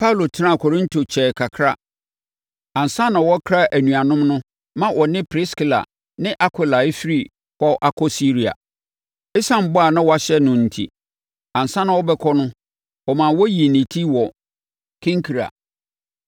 Paulo tenaa Korinto kyɛɛ kakra ansa na ɔrekra anuanom no ma ɔne Priskila ne Akwila refiri hɔ akɔ Siria. Esiane ɛbɔ a na wahyɛ no enti, ansa na ɔrebɛkɔ no, ɔmaa wɔyii ne ti wɔ Kenkrea.